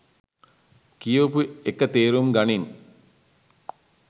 කියවපු එක තේරුම් ගනින්